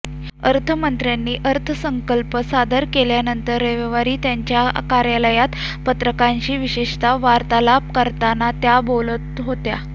अर्थमंत्र्यांनी अर्थसंकल्प सादर केल्यानंतर रविवारी त्यांच्या कार्यालयात पत्रकारांशी विशेष वार्तालाप करताना त्या बोलत होत्या